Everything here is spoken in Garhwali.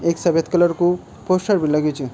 ऐक सफेद कलर कु पोस्टर बि लग्यू च।